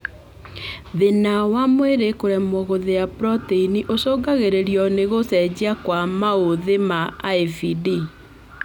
Thina wa mwĩrĩ kũremwo gũthĩa proteini ũcũngagĩrĩrio nĩ gũcenjia kwa maũthĩ ma IVD